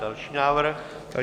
Další návrh.